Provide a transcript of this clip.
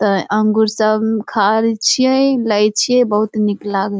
त अंगूर सब खा रहल छिए लेइ छिय बहुत निक लागे।